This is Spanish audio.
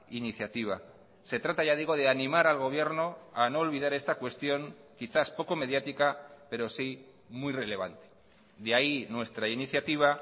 iniciativa se trata ya digo de animar al gobierno a no olvidar esta cuestión quizás poco mediática pero sí muy relevante de ahí nuestra iniciativa